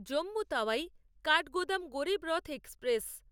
Jammu Tawi Kathgodam Garib Rath express